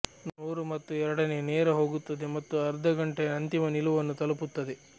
ನೂರು ಮತ್ತು ಎರಡನೇ ನೇರ ಹೋಗುತ್ತದೆ ಮತ್ತು ಅರ್ಧ ಘಂಟೆಯ ಅಂತಿಮ ನಿಲುವನ್ನು ತಲುಪುತ್ತದೆ